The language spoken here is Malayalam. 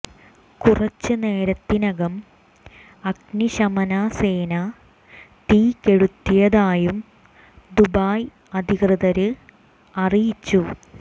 കുറച്ചുനേരത്തിനകം അഗ്നി ശമന സേന തീ കെടുത്തിയതായും ദുബായ് അധികൃതര് അറിയിച്ചു